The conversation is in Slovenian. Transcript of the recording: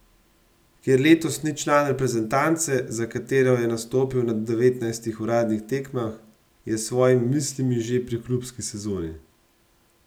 Ker letos ni član reprezentance, za katero je nastopil na devetnajstih uradnih tekmah, je s svojimi mislimi že pri klubski sezoni.